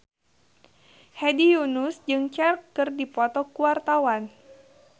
Hedi Yunus jeung Cher keur dipoto ku wartawan